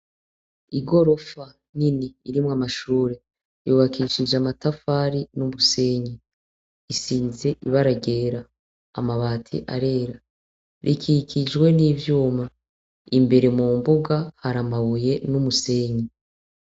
Igorofa nini irimwo amashure, yubakishije amatafari n'umusenyi, isize ibara ryera, amabati arera, rikikijwe n'ivyuma. Imbere mu mbuga hari amabuye n'umusenyi.